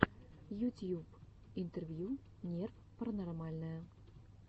ютьюб интервью нерв паранормальное